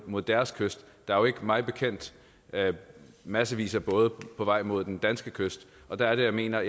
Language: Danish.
mod deres kyst der er jo ikke mig bekendt massevis af både på vej mod den danske kyst og da er det jeg mener